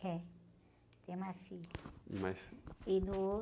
É, tem uma filha.) mais? no